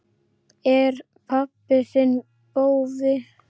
Er pabbi þinn bófi?